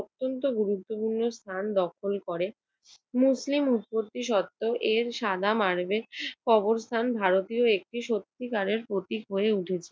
অত্যন্ত গুরুত্বপূর্ণ স্থান দখল করে। মুসলিম উৎপত্তিসত্ত্বেও এর সাদা মার্বেল কবরস্থান ভারতীয় একটি সত্যিকারের প্রতীক হয়ে উঠেছে।